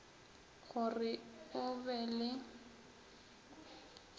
go re o be le